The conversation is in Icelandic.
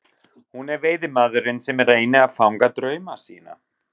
Hún er veiðimaðurinn sem reynir að fanga drauma sína.